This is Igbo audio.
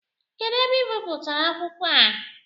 Kedụ ebe ị bipụtara akwụkwọ a?